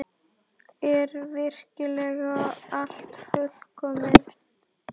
Er virkilega allt fullkomið?